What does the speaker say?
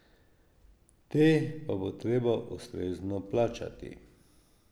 Te pa bo treba ustrezno plačati.